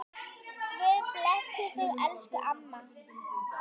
Guð blessi þig, elsku amma.